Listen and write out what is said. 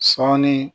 Sɔɔni